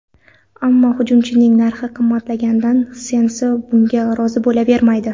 Ammo hujumchining narxi qimmatligidan Sensi bunga rozi bo‘lavermaydi.